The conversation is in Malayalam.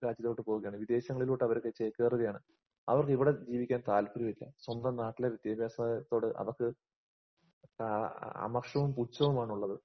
രാജ്യത്തോട്ട് പോവുകയാണ്. വിദേശങ്ങളിലോട്ട് അവര്ചേക്കേറുകയാണ്. അവർക്ക് ഇവിടെ ജീവിക്കാൻ താല്പര്യമില്ലാ. സ്വന്തം നാട്ടിലെ വിദ്യാഭാസനയത്തോട് അവക്ക് ആഹ് അമർഷവും, പുച്ഛവുമാണുള്ളത്.